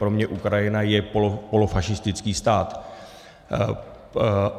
Pro mě Ukrajina je polofašistický stát.